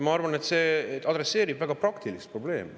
Ma arvan, et see adresseerib väga praktilist probleemi.